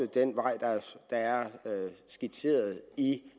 den vej der er skitseret i